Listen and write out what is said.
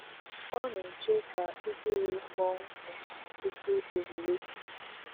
Ọ na-eche ka igirii kpọọ nkụ tupu owuwe.